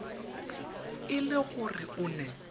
e le gore o ne